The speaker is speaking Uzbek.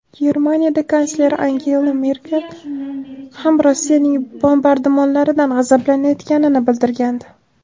Germaniya kansleri Angela Merkel ham Rossiyaning bombardimonlaridan g‘azablanayotganini bildirgandi .